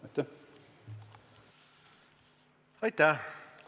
Aitäh!